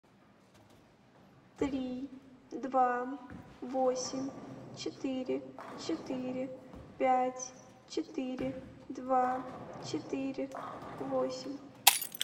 три два восемь четыре четыре пять четыре два четыре восемь